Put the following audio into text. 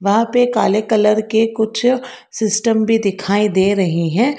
यहां पे काले कलर के कुछ सिस्टम भी दिखाई दे रही हैं।